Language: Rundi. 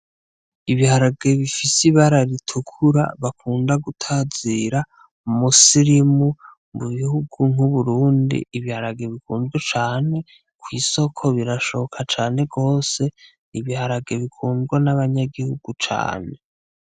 Ibiharage bifise ibara ritukura bakunda gutazira Musirimu mubihugu nk'Uburundi ,Ibiharage bikunzwe cane kwisoko birashoka cane gose, Ibiharage bikundwa n'abanyagihugu cane